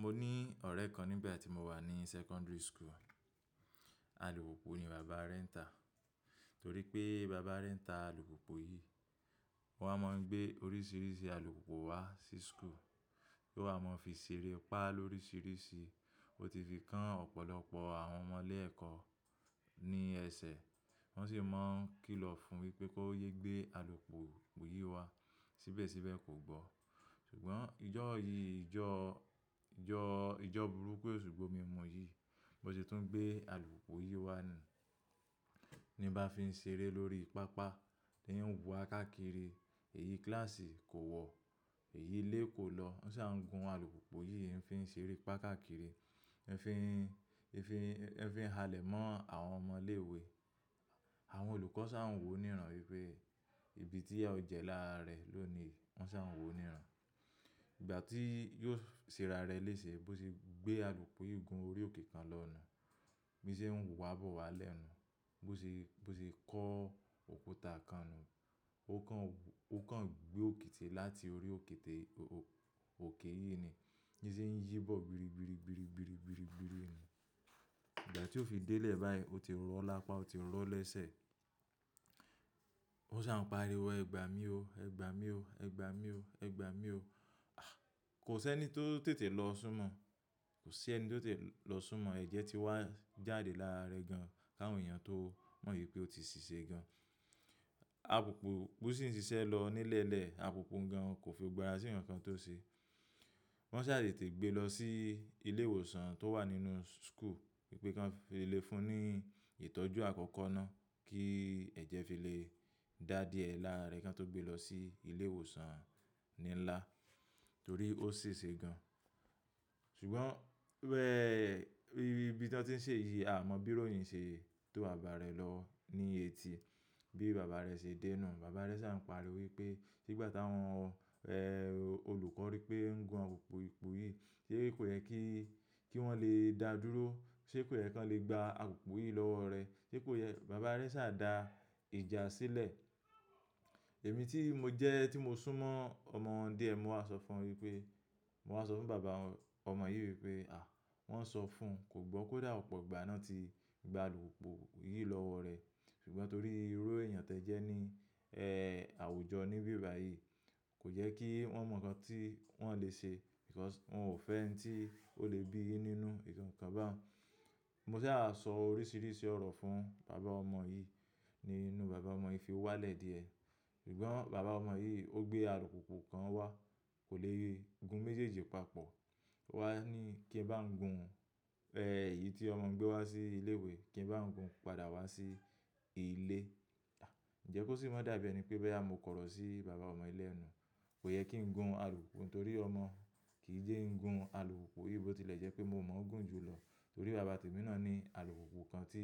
Mo ní ọ̀rẹ́ kan nígbà tí mo wà ní secondary school, alùpùpù ni bàbá rẹ̀ ń ta. Torí pé bàbá rẹ̀ ń ta alùpùpù yìí, ó wa mọ ngbé oríṣiríṣi alùpùpù wá sí school. Yóò wa mọ fi ṣeré, pa lóríṣiríṣi. Ó ti fi kán ọ̀pọ̀lọpọ̀ àwọn ọmọ ilé ẹ̀kọ́ ní ẹsẹ̀. Wọ́n sì máa ń kìlọ̀ fún wípé kó yé gbé alùpùpù yìí wá síbẹ̀síbẹ̀ kò gbọ́. Ṣùgbọ́n ijó yìí, ijó, ijó, ijó burúkú eṣù gbọ̀mì mu yìí, bó ṣe tún gbé alùpùpù yìí wá nuu. Ni nbá fi ń ṣeré lórí pápá, ó ń wa á káàkiri, èyí kíláàsì kò wọ̀, èyí ilé kò lọ. Wọ́n sa ń gun alùpùpù yìí, o fi ń ṣeré pa káàkiri, ẹ́ fi ń, ẹ́ fi ń, ẹ́ fi ń halẹ̀ mọ́ àwọn ọmọ ilé ìwé. Àwọn olùkọ́ ṣà ń wò níran wípé ìbí tí ìyà ó jẹ lára rẹ̀ ló ni. Wọ́n ṣà ń wò níran. Ìgbà tí yóò ṣera rẹ léṣe, bó ṣe gbé alùpùpù yìí gun orí òkè kan lọ nù, bí ṣe ń wá bọ̀ wá lẹ́ nuu, bó ṣe, bó ṣe kó òkúta kan nú, ó kàn, ó kàn gbé òkiti láti orí òkè té, òkè yìí ni. Bíi ṣe ń yí bọ̀ gbiri gbiri gbiri gbiri gbiri gbiri nù. Ìgbà tí ó fi délẹ̀ báyìí, ó ti rọ lápá, ó ti rọ lẹ́sẹ̀. Wọ́n ṣà ń pariwo, "Ẹgba mi o, ẹgba mi o, ẹgba mi o, ẹgba mi o." Kò sí ẹni tó tètè lọ súnmọ́, kò sí ẹni tó tètè lọ súnmọ́ ẹ̀jẹ̀ tí wá jáde lára rẹ̀ gan. Káwọn èèyàn tó mọ ìpé ó ti ṣìṣe gan. Àlupùpù sì ń ṣiṣẹ́ lọ nílẹ̀lẹ̀, alùpùpù wun gan kò fi gbogbo àra sí ǹkan tó ṣe. Wọ́n ṣà tètè gbé lọ sí ilé ìwòsàn tó wà nínú school wípé kí wọ́n fi le fún ní ìtọ́jú àkọ́kọ́ náà kí ẹ̀jẹ̀ fi lè dà díẹ̀ lára rẹ̀ kí wọ́n tó gbé lọ sí ilé ìwòsàn ní ńlá torí ó ṣèṣe gan. Ṣùgbọ́n bẹ́ẹ̀, ibi tí wọ́n ti ń ṣe yìí, a mọ bíróyìn ṣe tó bàbàà rẹ̀ lọ ní etí. Bí bàbá rẹ̀ ṣe dé nù, bàbá rẹ̀ ṣà ń pariwo wípé, "Ṣé ìgbà táwọn, ẹ́, olùkọ́ rí pé o ń gun alùpùpù yìí, ṣe kò yẹ kí, kí wọ́n lè dá dúró, ṣe kò yẹ kí wọ́n lè gba alùpùpù yìí lọ́wọ́ rẹ? Ṣé kò yẹ "Bàbá rẹ̀ ṣà dá ìjà sílẹ̀. Èmi tí mo jẹ́, tí mo súnmọ́ ọmọ wọn díẹ̀, mo wà ṣọ fún wọ́n wípé, mo wà ṣọ fún bàbá ọmọ yìí wípé, "À! Wọ́n ṣọ fún, kò gbọ́ kódà ọ̀pọ̀ ìgbà náà ti gba alùpùpù yìí lọ́wọ́ rẹ̀." Ṣùgbọ́n torí irú èèyàn tó jẹ́ ní, ẹ́, àwùjọ níbí báyìí, kò jẹ kí wọ́n mọ ǹkan tí wọ́n lè ṣe. BÌkọ́s wọn ò fẹ́ ohun tí ó lè bí yìí nínú ǹkan kan báhun. Mo ṣà á sọ oríṣiríṣi ọ̀rọ̀ fún bàbá ọmọ yìí, ni inú bàbá ọmọ yìí fi wá lẹ̀ díẹ̀. Ṣùgbọ́n bàbá ọmọ yìí ó gbé alùpùpù kan wá, kò lè e, gun méjèèjì papọ̀. O wá ní kí n bá gún, ẹ́, èyí tí ọmọ gbé wá sí ilé ìwé, kí n bá gún padà wá sí ilé. À! Ǹjẹ́ kó sì mọ dábẹ́ ni pé bẹ́ à mo kọ̀rọ̀ sí bàbá ọmọ yì lẹ́nu. Kò yẹ kí n gun alùpùpù torí ọmọ kì í jẹ́ ń gun alùpùpù yìí bó tilẹ̀ jẹ́ pé mo mọ̀ ọ́n gùn jù lọ. Torí bàbá tèmi náà ní alùpùpù kan tí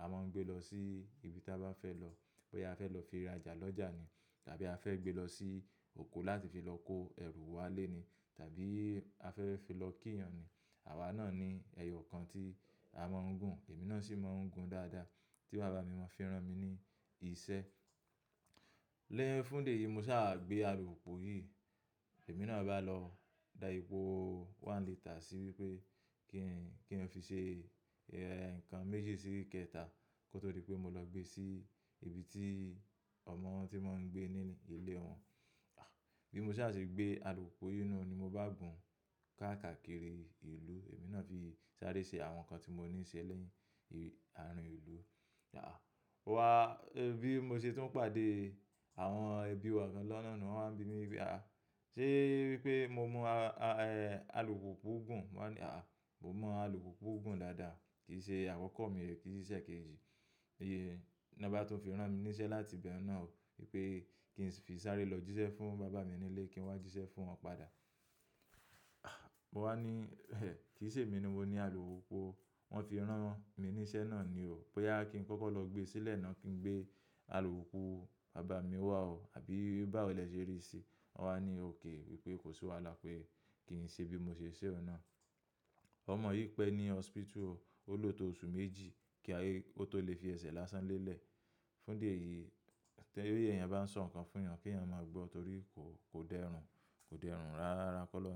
a máa ń gbé lọ sí ibi tí a bá fẹ́ lọ. Bóyá à fẹ́ lọ fi rajà lọ́jà ni tàbí a fẹ́ gbé lọ sí oko láti fi lọ kó ẹrù wa lé ni tàbí a fẹ́ fi lọ kí èèyàn ni. Àwa náà ní ẹyọ kan tí a máa ń gùn. Èmi náà sì máa ń gùn dáadáa tí bàbá mi máa ń fi rán mi ní iṣẹ́. Lẹ́yìn fún ìdí yìí, mo ṣà gbé alùpùpù yìí. Èmi náà bá lọ da epò one liter sí wípé kí n, kí n fi ṣe ẹ̀, ǹkan méjì sí ìkéta kó tó dí pé mo lọ gbé sí ibi tí ọmọ wọ́n ti má ń gbé ní ilé wọn. À! Bí mo ṣà ṣe gbé alùpùpù yìí náà ni mo bá gùn káàkiri ìlú. Èmi náà fi sáré ṣe àwọn ǹkan tí mo níṣe lẹ́yìn, ààrín ìlú. À! Mo wá, bí mo ṣe tún pàdé àwọn ẹbí wa kan lọ́nà nùu, wọ́n máa ń bi mí wípé, "À! Ṣé wípé mo mú a, a, ẹ́, alùpùpù gùn?" mo wáa ní, "À! Mo mọ alùpùpù gùn dáadáa. Kì í ṣe àkọ̀kọ́ mi re, kì í ṣiṣẹ́ kejì." "Yé, náà bá tún fi rán mi níṣẹ́ láti ibẹ̀hun náà o wípé kí n fi sáré lọ jíṣẹ́ fún bàbá mi nílé, kí n wá jíṣẹ́ fún wọn padà." À! Mo wá ní, "Ẹ̀! Kì í ṣe èmi ni mo ní alùpùpù o. Wọ́n fi rán mi níṣẹ́ náà ni o. Bí à kí n kọ́kọ́ lọ gbé sílẹ̀ náà kí n gbé alùpùpù bàbá mi wá o àbí bá ò lè ṣeré sí i." Wọ́n wá ní òkè wípé kò sí wàhálà pé kí n ṣe bí mo ṣe ṣẹ́ ọhun náà. Ọmọ yìí pẹ́ ní hospital o. Ó lò tó oṣù méjì kí a, kó tó lè fi ẹsẹ̀ lásán lélẹ̀. Fún di eyìí, tí èèyàn bá ń sọ ǹkan fún'yan, kí èèyàn máa gbọ́ torí kò, kò dẹrùn, kò dẹrùn rárá kọ́ lọ́nà.